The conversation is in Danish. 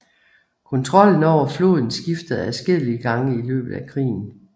Kontrollen over floden skiftede adskillige gange i løbet af krigen